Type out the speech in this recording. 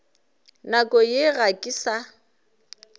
nakong ye ga ke sa